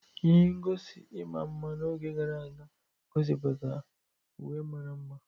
Ihe ngosi ịma mma n'oge gara aga gosipụtara uwe mara mma